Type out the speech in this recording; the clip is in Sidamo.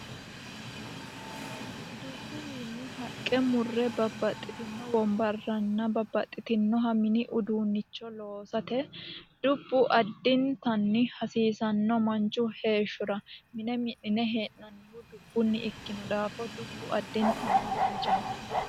Dubbuwiinni haqqe murre babbaxitino wonbarranna babbaxinoha mini uduunicho loosate dubbu addintanni hasiisano manchu heeshshora. Mine mi'nine hee'nannihu dubbuni ikkino daafo dubbu addintanni danchaho.